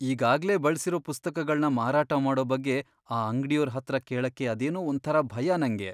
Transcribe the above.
ಈಗಾಗ್ಲೇ ಬಳ್ಸಿರೋ ಪುಸ್ತಕಗಳ್ನ ಮಾರಾಟ ಮಾಡೋ ಬಗ್ಗೆ ಆ ಅಂಗ್ಡಿಯೋರ್ ಹತ್ರ ಕೇಳಕ್ಕೆ ಅದೇನೋ ಒಂಥರ ಭಯ ನಂಗೆ.